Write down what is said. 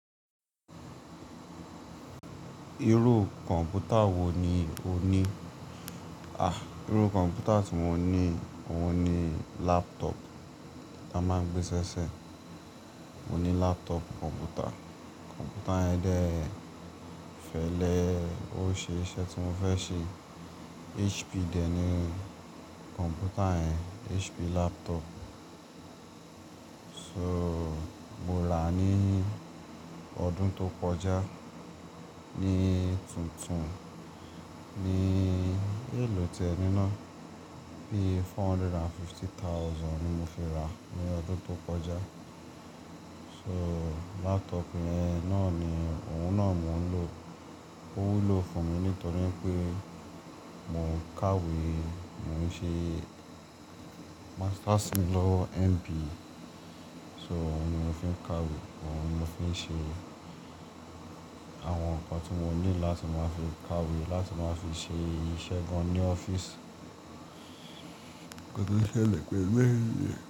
Irú kọ̀mpútà wo ni o ní? À, irú kọ̀mpútà tí mo ní, òun ni laptop tí a máa ń gbé ṣẹṣẹ. Mo ní laptop kọ̀mpútà. Kọ̀mpútà yẹn dẹ, fẹlé o ṣe iṣẹ́ tí mo fẹ́ ṣe. HP dẹ ni kọ̀mpútà yẹn, HP laptop. So, mo rà á ní ọdún tó kọjá ní tuntun ní èlò tí ẹ níná, bí i four hundred and fifty thousand ni mo fi ra ní ọdún tó kọjá. So, laptop yẹn náà ni òun náà mo ń lò. Ó wúlò fún mi nítorí pé mò ń kàwé, mò ń ṣe master's mí lòwo MBA. So, òun ni mo fi ń kàwé, òun ni mo fi ń ṣe àwọn nǹkan tí mo ní láti máa fi kàwé, láti máa fi ṣe iṣẹ́ gan-an ní ọ́fíìsì. Kíni ó ṣẹlẹ̀ pẹ̀lú ère.